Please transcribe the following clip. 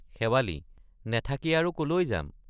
শেৱালি—নেথাকি আৰু কলৈ যাম?